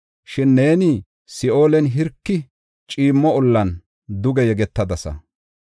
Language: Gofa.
Shin neeni Si7oolen, hirki ciimmo ollan duge yegetadasa.